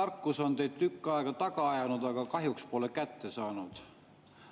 tarkus on teid tükk aega taga ajanud, aga kahjuks pole kätte saanud.